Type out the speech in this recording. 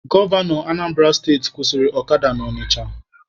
Gọvanọ Anambara steti kwụsịrị ọkada na Ọnịcha